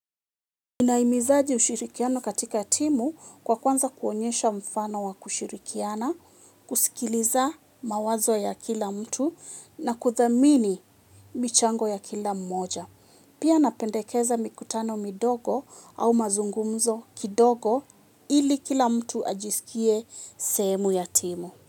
Ninaimizaji ushirikiano katika timu kwa kuanza kuonyesha mfano wa kushirikiana, kusikiliza mawazo ya kila mtu na kuthamini michango ya kila mmoja. Pia napendekeza mikutano midogo au mazungumzo kidogo ili kila mtu ajisikie sehemu ya timu.